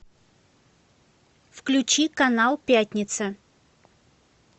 включи канал пятница